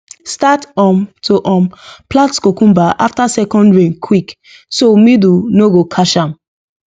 start um to um plant cucumber after second rain quick so mildew no go catch am